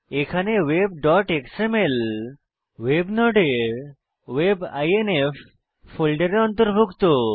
এখানে webএক্সএমএল ভেব নোডের web আইএনএফ ফোল্ডারে অন্তর্ভুক্ত